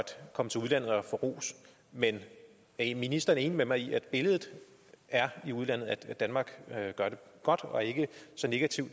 få ros men er ministeren enig med mig i at billedet i udlandet er at danmark gør det godt og ikke så negativt